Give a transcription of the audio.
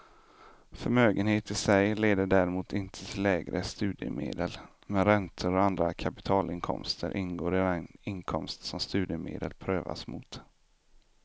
Förmögenhet i sig leder däremot inte till lägre studiemedel, men räntor och andra kapitalinkomster ingår i den inkomst som studiemedel prövas mot.